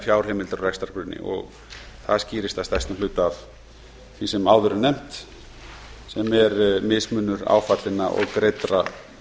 fjárheimildir á rekstrargrunni og það skýrist að stærstum hluta af því sem áður er nefnt sem er mismunur áfallinna og greiddra